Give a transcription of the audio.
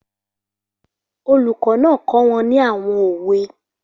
Olùkọ́ náà kọ́ wọn ní àwọn òwe.